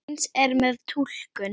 Eins er með túlkun.